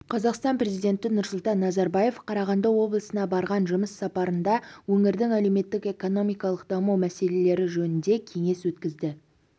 қазақстан президенті нұрсұлтан назарбаев қарағанды облысына барған жұмыс сапарында өңірдің әлеуметтік-экономикалық даму мәселелері жөнінде кеңес өткізді